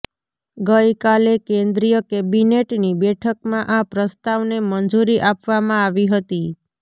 ગઇકાલે કેન્દ્રીય કેબિનેટની બેઠકમાં આ પ્રસ્તાવને મંજુરી આપવામાં આવી હતી